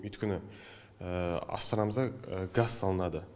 өйткені астанамызда газ салынады